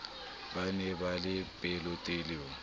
ba ne ba le pelotelele